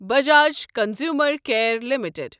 Bajaj consumer care limited